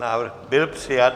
Návrh byl přijat.